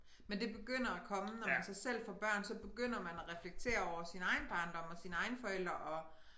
Men det begynder at komme når man så selv får børn så begynder man at reflektere over sin egen barndom og sine egne forældre og